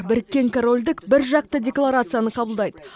біріккен корольдік біржақты декларацияны қабылдайды